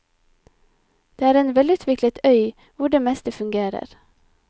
Det er en velutviklet øy hvor det meste fungerer.